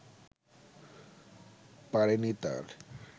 পারেনি তার